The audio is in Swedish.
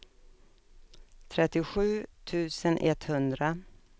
trettiosju tusen etthundra